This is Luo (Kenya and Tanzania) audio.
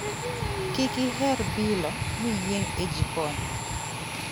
kiki her bilo miyieng' e jikon